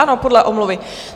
Ano, podle omluvy.